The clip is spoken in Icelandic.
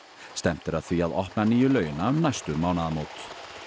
stefnt er að því að opna nýju laugina um næstu mánaðamót